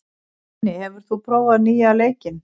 Denni, hefur þú prófað nýja leikinn?